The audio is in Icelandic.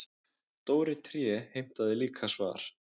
Dóri tré heimtaði líka svar.